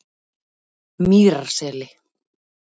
Mýrarseli